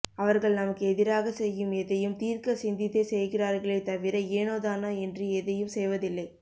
அவர்கள் நமக்கு எதிராக செய்யும் எதையும் தீர்க்க சிந்தித்தே செய்கிறார்களே தவிர ஏனோதானோ என்று எதையும் செய்வதில்லை